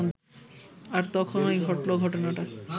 আর তখনই ঘটল, ঘটনাটা